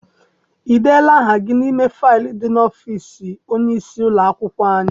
I deela aha gị n'ime faịlu dị n'ime ọfịịsi onyeisi ụlọakwụkwọ anyị?